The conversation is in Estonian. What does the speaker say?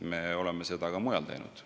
Me oleme seda ka mujal teinud.